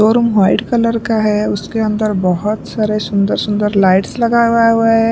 Room white colour का है उसके अंदर बहुत सारे सुंदर सुंदर लाइट्स लगा है।